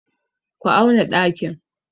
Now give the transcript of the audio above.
Ku auna ɗakin!